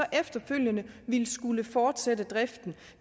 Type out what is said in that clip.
efterfølgende at skulle fortsætte driften